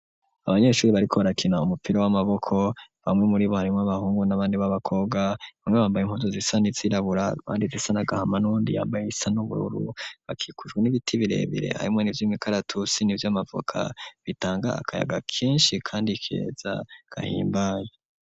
Abanyeshure bariko rakina umupira w'amaboko bamwe muri buharimo abahungu n'abandi b'abakobwa bamwe bambaye impuzu zisa nizirabura kandi zisa nagahama nundi yambaye isa n'ubururu bakikujwe n'ibiti birebire arimwe n'ivy'imikaratusi n'iby'amavuka bitanga akayaga kenshi kandi ikeza gahimbaye.